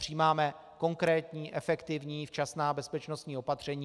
Přijímáme konkrétní, efektivní, včasná bezpečnostní opatření.